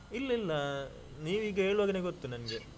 ಇಲ್ಲಾ ಇಲ್ಲ. ನೀವು ಈಗ ಹೇಳುವಗೇನೆ ಗೊತ್ತು ನಂಗೆ.